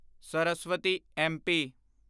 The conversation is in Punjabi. ਸਰਸਵਤੀ ਐਮਪੀ